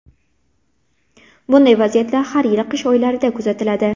Bunday vaziyat har yili qish oylarida kuzatiladi.